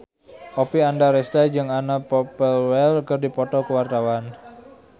Oppie Andaresta jeung Anna Popplewell keur dipoto ku wartawan